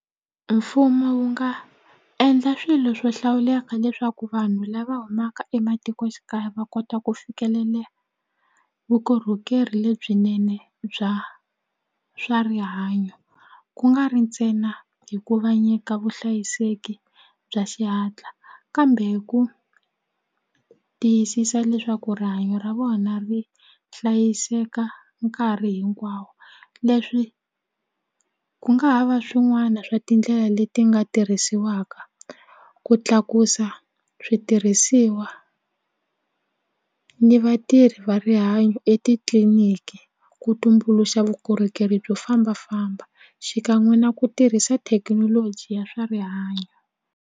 Mfumo wu nga endla swilo swo hlawuleka leswaku vanhu lava humaka ematikoxikaya va kota ku vukorhokeri lebyinene bya swa rihanyo ku nga ri ntsena hi ku va nyika vuhlayiseki bya xihatla kambe ku tiyisisa leswaku rihanyo ra vona ri hlayiseka nkarhi hinkwawo leswi ku nga ha va swin'wana swa tindlela leti nga tirhisiwaka ku tlakusa switirhisiwa ni vatirhi va rihanyo etitliliniki ku tumbuluxa vukorhokeri byo fambafamba xikan'we na ku tirhisa thekinoloji ya swa rihanyo.